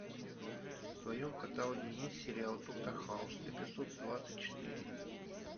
в твоем каталоге есть сериал доктор хаус эпизод двадцать четыре